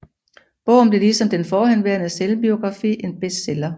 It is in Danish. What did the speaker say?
Bogen blev ligesom den forhenværende selvbiografi en bestseller